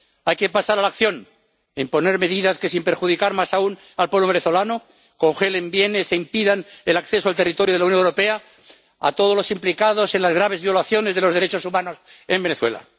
Hay que pasar a la acción e imponer medidas que, sin perjudicar más aún al pueblo venezolano, congelen bienes e impidan el acceso al territorio de la Unión Europea a todos los implicados en las graves violaciones de los derechos humanos en Venezuela.